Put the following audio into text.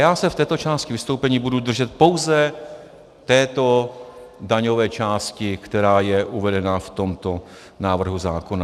Já se v této části vystoupení budu držet pouze této daňové části, která je uvedena v tomto návrhu zákona.